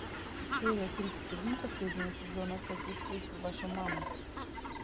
серия тридцать один последнего сезона как я встретил вашу маму